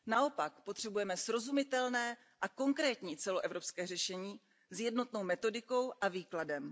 Naopak, potřebujeme srozumitelné a konkrétní celoevropské řešení s jednotnou metodikou a výkladem.